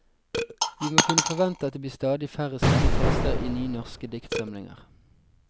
Vi må kunne forvente at det blir stadig færre slike tekster i nye norske diktsamlinger.